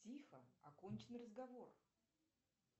тихо окончен разговор